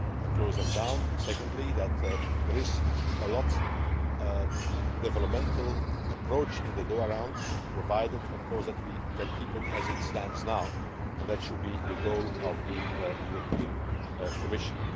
close them down. Secondly, there is a strong developmental approach in the Doha Round, provided, of course, that we can keep it as it stands now, and that should be the goal of the European Commission.